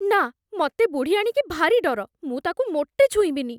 ନା! ମତେ ବୁଢ଼ିଆଣୀକି ଭାରି ଡର । ମୁଁ ତାକୁ ମୋଟେ ଛୁଇଁବିନି ।